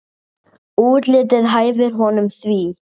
Útlitið hæfir honum því.